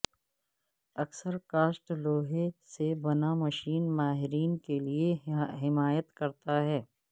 اکثر کاسٹ لوہے سے بنا مشین ماہرین کے لئے حمایت کرتا ہے